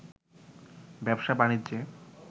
ব্যবসা বাণিজ্যে